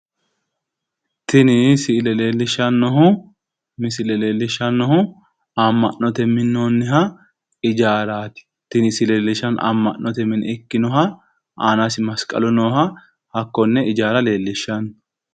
Tini misilete leellishshannohu ama'note minoonni ijaara leellishshanno aanasi masqalu nooha leellishshanno.